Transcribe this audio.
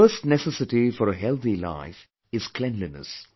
The first necessity for a healthy life is cleanliness